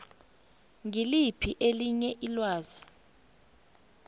ngiliphi elinye ilwazi